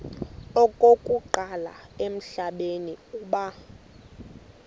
okokuqala emhlabeni uba